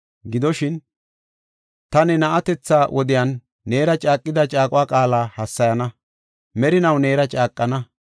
Gidoshin, ta ne na7atetha wodiyan neera caaqida caaqo qaala hassayana; merinaw neera caaqana.